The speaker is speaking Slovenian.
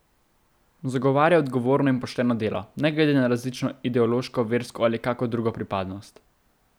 Zagovarja odgovorno in pošteno delo, ne glede na različno ideološko, versko ali kako drugo pripadnost.